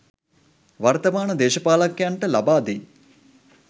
වර්තමාන දේශපාලකයන්ට ලබා දෙයි